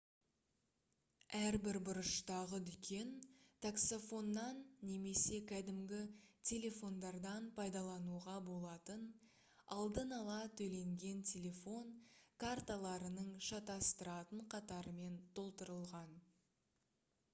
әрбір бұрыштағы дүкен таксофоннан немесе кәдімгі телефондардан пайдалануға болатын алдын ала төленген телефон карталарының шатастыратын қатарымен толтырылған